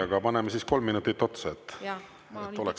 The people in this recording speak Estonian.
Aga paneme siis kolm minutit otsa, et oleks …